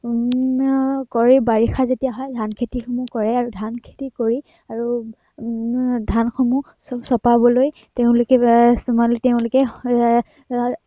উম কৰি বাৰিষা যেতিয়া হয়, ধান খেতিসমূহ কৰে আৰু ধান খেতি কৰি আৰু উম আহ ধানসমূহ খেতিসমূহ চপাবলৈ তেওঁলোকে উহ তেওঁলোকে আহ তেওঁলোকে